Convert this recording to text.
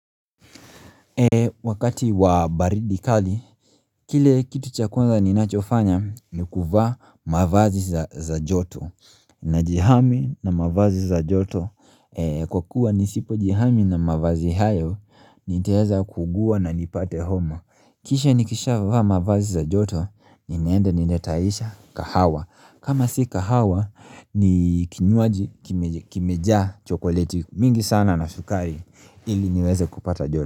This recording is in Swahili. Wakati wa baridi kali, kile kitu cha kwanza ninachofanya ni kuvaa mavazi za joto Najihami na mavazi za joto Kwa kuwa nisipo jihami na mavazi hayo, niteweza kuugua na nipate homa Kisha nikisha vaa mavazi za joto, ninaenda ninatayarisha kahawa kama si kahawa, ni kinywaji kimejaa chokoleti mingi sana na sukari ili niweze kupata joto.